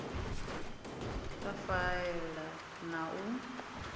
a faela na u a